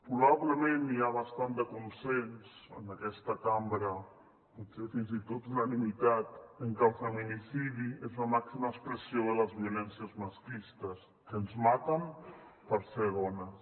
probablement hi ha bastant de consens en aquesta cambra potser fins i tot unanimitat en que el feminicidi és la màxima expressió de les violències masclistes que ens maten per ser dones